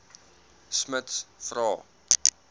smuts vra